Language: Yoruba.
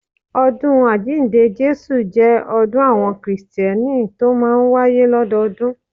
Ọdún Àjíǹde Jésù jẹ́ ọdún àwọn kìrìsìtẹ́nì tó máa ń wáyé lọ́dọọdún